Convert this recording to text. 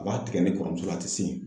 Waati kɛ ne kɔrɔmuso la a ti se yen.